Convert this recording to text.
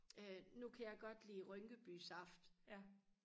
øh nu kan jeg godt lide rynkeby saft